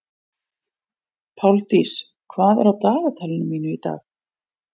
Páldís, hvað er á dagatalinu mínu í dag?